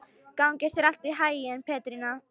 Gangi þér allt í haginn, Petrína.